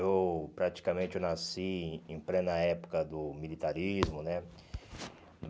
Eu praticamente nasci em plena época do militarismo, né?